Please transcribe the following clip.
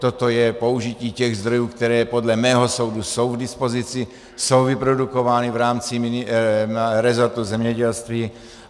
Toto je použití těch zdrojů, které podle mého soudu jsou k dispozici, jsou vyprodukovány v rámci rezortu zemědělství.